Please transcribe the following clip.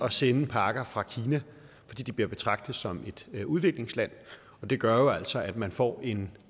at sende pakker fra kina fordi de bliver betragtet som et udviklingsland og det gør jo altså at man får en